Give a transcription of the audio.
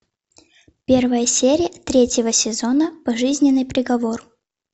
первая серия третьего сезона пожизненный приговор